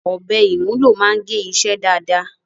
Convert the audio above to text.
Ọ̀bẹ ìmúlò máa ń gé iṣẹ́ dáadáa.